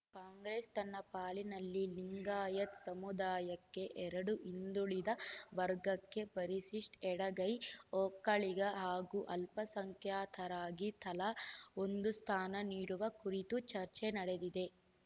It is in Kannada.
ಕಾಂಗ್ರೆಸ್‌ ತನ್ನ ಪಾಲಿನಲ್ಲಿ ಲಿಂಗಾಯತ್ ಸಮುದಾಯಕ್ಕೆ ಎರಡು ಹಿಂದುಳಿದ ವರ್ಗಕ್ಕೆ ಪರಿಶಿಷ್ಟ್ ಎಡಗೈ ಒಕ್ಕಲಿಗ ಹಾಗೂ ಅಲ್ಪಸಂಖ್ಯಾತರಿಗೆ ತಲಾ ಒಂದು ಸ್ಥಾನ ನೀಡುವ ಕುರಿತು ಚರ್ಚೆ ನಡೆದಿದೆ